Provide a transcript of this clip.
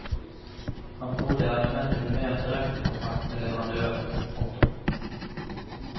Han tror det er nødvendig med mer direktekontakt med leverandørene. punktum